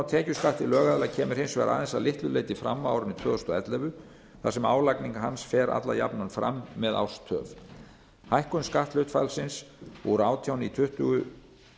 tekjuskatti lögaðila kemur hins vegar aðeins að litlu leyti fram á árinu tvö þúsund og ellefu þar sem álagning hans fer alla jafna fram með árstöf hækkun skatthlutfallsins úr átján prósent í tuttugu